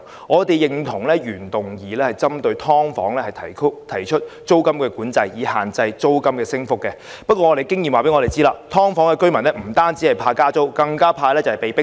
我們認同原議案針對"劏房"提出租金管制以限制租金升幅的建議，但根據經驗，"劏房"居民不但擔心加租，更害怕被迫遷。